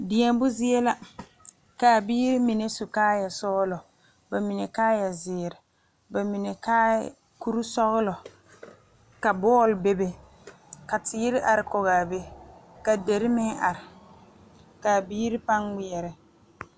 Deɛmo zie la kaa biiri mine su kaayɛ sɔgelɔ ba mine kaayɛ zeere ba mime kaayɛ bonsɔgelɔ ka bɔɔl be be ka teere are kɔge a be ka dire meŋ are kaa biiri paŋ kpɛerɛ